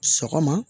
Sɔgɔma